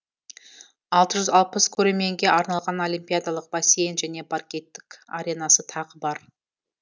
алты жүз алпыс көрерменге арналған олимпиадалық бассейн және паркеттік аренасы тағы бар